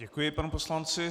Děkuji panu poslanci.